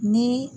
Ni